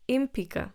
In pika.